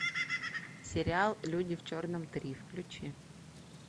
сериал люди в черном три включи